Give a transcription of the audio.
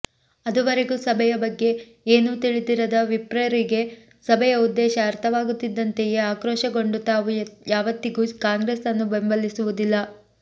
ಅದುವರೆಗೂ ಸಭೆಯ ಬಗ್ಗೆ ಏನೂ ತಿಳಿದಿರದ ವಿಪ್ರರಿಗೆ ಸಭೆಯ ಉದ್ದೇಶ ಅರ್ಥವಾಗುತ್ತಿದ್ದಂತೆಯೇ ಆಕ್ರೋಶಗೊಂಡು ತಾವು ಯಾವತ್ತಿಗೂ ಕಾಂಗ್ರೆಸ್ ಅನ್ನು ಬೆಂಬಲಿಸುವುದಿಲ್ಲ